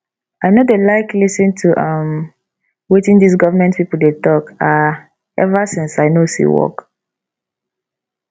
i no dey like lis ten to um wetin dis government people dey talk um ever since i no see work